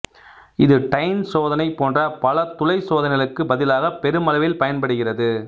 இது டைன் சோதனை போன்ற பல துளைச் சோதனைகளுக்குப் பதிலாக பெருமளவில் பயன்படுகிறது